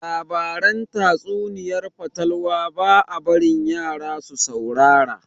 Labaran tatsuniayar fatalwa ba a barin yara su saurara